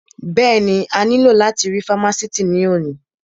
Bẹ́ẹ̀ni, a ní lò láti rí fámásìtì ní òní